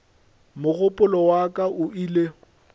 mogopolo wa ka o ile